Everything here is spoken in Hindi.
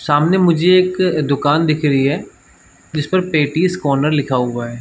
सामने मुझे एक दुकान दिख रही है जिस पर पेटीज कॉर्नर लिखा हुआ है।